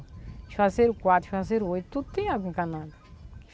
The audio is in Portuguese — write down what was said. Juazeiro quatro, Juazeiro oito, tudo tem água encanada.